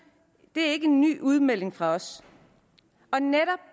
det er ikke en ny udmelding fra os